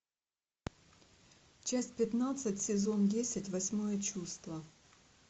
часть пятнадцать сезон десять восьмое чувство